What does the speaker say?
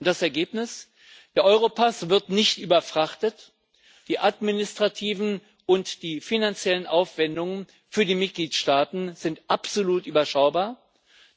Das Ergebnis Der Europass wird nicht überfrachtet, die administrativen und die finanziellen Aufwendungen für die Mitgliedstaaten sind absolut überschaubar,